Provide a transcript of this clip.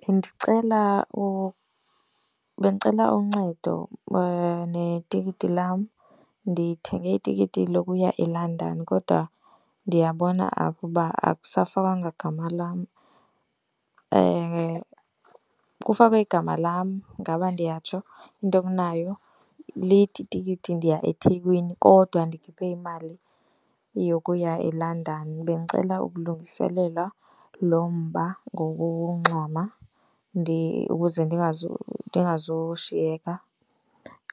Bendicela bendicela uncedo netikiti lam. Ndithenge itikiti lokuya eLondon kodwa ndiyabona apha uba akusafakwangwa gama lam. Kufakwe igama lam ngaba ndiyatsho intonayo lithi itikiti ndiya eThekwini kodwa ndikhuphe imali yokuya eLondon. Bendicela ukulungiselelwa lo mba ngokungxama ukuze ndingazushiyeka